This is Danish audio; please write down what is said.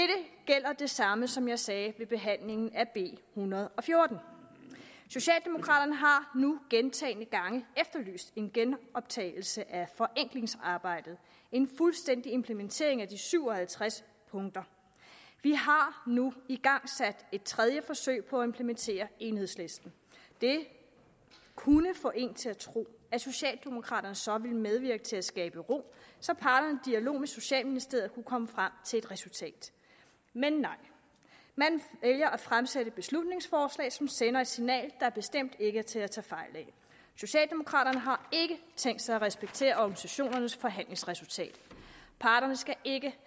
gælder det samme som jeg sagde ved behandlingen af b en hundrede og fjorten socialdemokraterne har nu gentagne gange efterlyst en genoptagelse af forenklingsarbejdet en fuldstændig implementering af de syv og halvtreds punkter vi har nu igangsat et tredje forsøg på at implementere enighedslisten det kunne få en til at tro at socialdemokraterne så ville medvirke til at skabe ro så parterne dialog med socialministeriet kunne komme frem til et resultat men nej man vælger at fremsætte et beslutningsforslag som sender et signal der bestemt ikke er til at tage fejl af socialdemokraterne har ikke tænkt sig at respektere organisationernes forhandlingsresultat parterne skal ikke